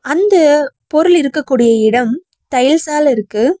அந்த பொருள் இருக்க கூடிய இடம் டைல்ஸ்சால இருக்கு.